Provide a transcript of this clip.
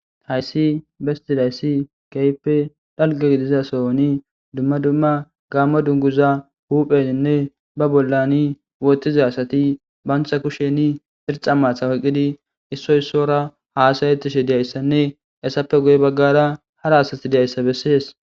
Haysi betizaysi kehippe dalgga gidiza sohon dumma dumma gammo dunguza huphphenine ba bollan woththida asati bantta kushshen irixxa maata oyqqidi issoy isowara hasa7etishe dizayssane hesappe guye baggara hara asati diizayssa besese.